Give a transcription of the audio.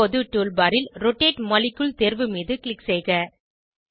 இப்போது tool bar ல் rotate molecule தேர்வு மீது க்ளிக் செய்க